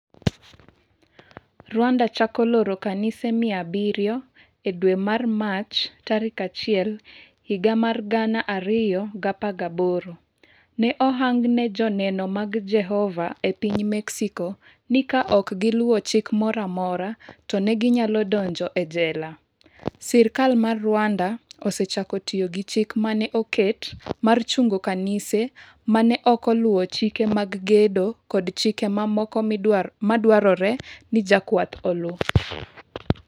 Rwanda chako loro kanise mia abirio E dwe mar Mach 1, 2018, ne ohang ne Joneno mag Jehova e piny Mexico ni ka ok giluwo chik moro amora, to ne ginyalo donjo e jela. Sirkal mar Rwanda osechako tiyo gi chik ma ne oket mar chungo kanise ma ne ok oluwo chike mag gedo kod chike mamoko madwarore ni jokwath oluw.